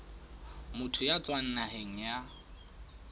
motho ya tswang naheng ya